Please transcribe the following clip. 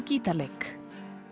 gítarleik